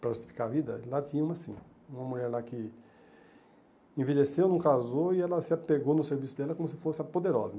para justificar a vida, lá tinha uma sim, uma mulher lá que envelheceu, não casou, e ela se apegou no serviço dela como se fosse a poderosa.